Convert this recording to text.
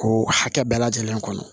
K'o hakɛ bɛɛ lajɛlen kɔnɔ